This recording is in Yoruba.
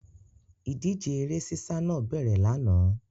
Ìdíje eré sísá náà bẹ̀rẹ̀ lánàá.